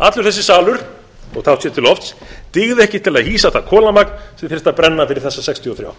allur þessi salur dygði ekki til að hýsa allt það kolamagn sem þyrfti að brenna bara fyrir þessa sextíu og þrjú